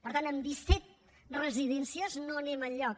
per tant amb disset residències no anem enlloc